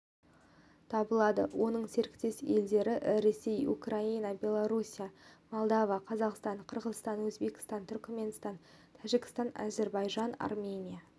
табылады оның серіктес елдері ресей украина беларусия молдова қазақстан қырғызстан өзбекстан түркіменстан тәжікстан әзірбайжан армения